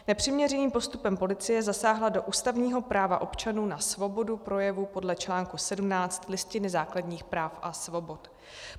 Nepřiměřeným postupem policie zasáhla do ústavního práva občanů na svobodu projevu podle článku 17 Listiny základních práv a svobod.